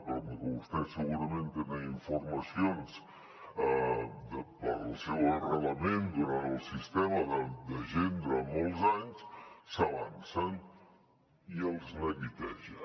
però com que vostès segurament tenen informacions pel seu arrelament al sistema de gent durant molts anys s’avancen i els neguiteja